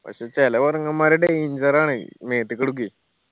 പക്ഷെ ചെല കൊരങ്ങന്മാർ danger ആണ്. മേത്തേക്ക് എടുക്കുവെ